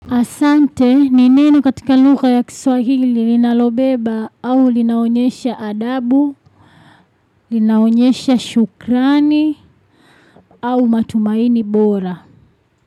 Asante, ni neno katika lugha ya kiswahili linalobeba au linaonyesha adabu, linaonyesha shukrani au matumaini bora.